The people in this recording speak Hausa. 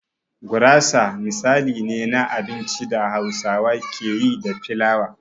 Gurasa misali ne na abincin da Hausawa ke yi da filawa.